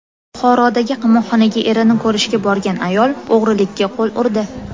Buxorodagi qamoqxonaga erini ko‘rishga borgan ayol o‘g‘rilikka qo‘l urdi.